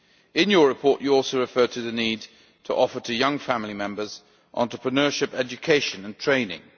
In your report, you also referred to the need to offer young family members entrepreneurship education and training.